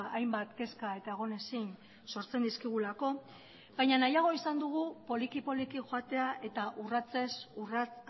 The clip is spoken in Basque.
hainbat kezka eta egonezin sortzen dizkigulako baina nahiago izan dugu poliki poliki joatea eta urratsez urrats